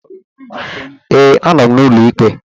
Ee, anọ m n'ụlọ ikpe